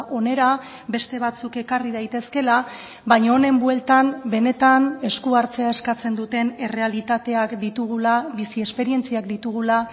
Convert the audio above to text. hona beste batzuk ekarri daitezkeela baina honen bueltan benetan esku hartzea eskatzen duten errealitateak ditugula bizi esperientziak ditugula